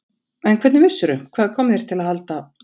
En hvernig vissirðu. hvað kom þér til að halda?